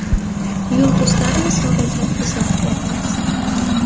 Yulduzlar misolida izoh beramiz .